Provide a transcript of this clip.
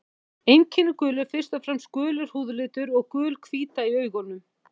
Einkenni gulu eru fyrst og fremst gulur húðlitur og gul hvíta í augunum.